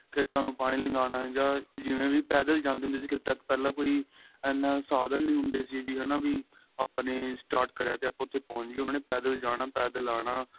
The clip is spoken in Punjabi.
ਖੇਤਾ ਨੂੰ ਪਾਣੀ ਲਗਾਉਣਾ ਜਾਂ ਜਿਵੇਂ ਵੀ ਪੈਦਲ ਜਾਂਦੇ ਹੁੰਦੇ ਸੀ ਖੇਤਾਂ ਤੱਕ ਪਹਿਲਾਂ ਕੋਈ ਐਨਾ ਸਾਧਨ ਨਹੀਂ ਹੁੰਦੇ ਸੀ ਹੈਨਾ ਵੀ ਆਪਣੇਂ start ਕਰਿਆ ਤੇ ਆਪਾ ਉਥੇ ਪਹੁੰਚ ਗਏ ਉਹਨਾ ਦੇ ਪੇਦਲ ਜਾਣਾ ਪੇਦਲ ਆਣਾ